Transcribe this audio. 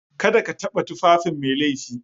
Kada ka taɓa tufafin Mai laifi